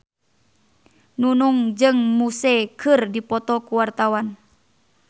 Nunung jeung Muse keur dipoto ku wartawan